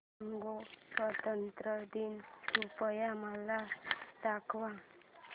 Congo स्वतंत्रता दिन कृपया मला दाखवा